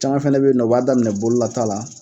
Caman fɛnɛ bɛ yen nɔ o b'a daminɛ bololata la